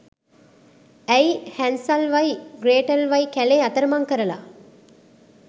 ඇයි හැන්සල්වයි ග්‍රේටල්වයි කැලේ අතරමං කරලා